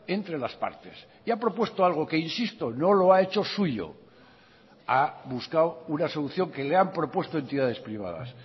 entre las partes y ha propuesto algo que insisto no lo ha hecho suyo ha buscado una solución que le han propuesto entidades privadas